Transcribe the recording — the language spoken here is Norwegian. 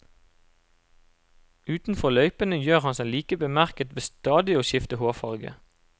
Utenfor løypene gjør han seg like bemerket ved stadig å skifte hårfarve.